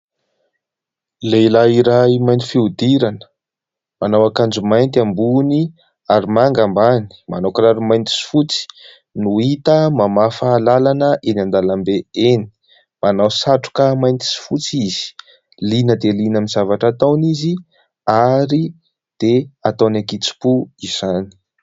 Lehilahy iray mainty fihodirana manao akanjo mainty ambony ary manga ambany, manao kiraro mainty sy fotsy no hita mamafa lalana eny an-dalambe eny. Manao satroka mainty sy fotsy izy, liana dia liana amin'ny zavatra ataony izy ary dia ataony an-kitsipo izany.